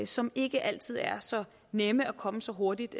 som ikke altid er så nemme at komme så hurtigt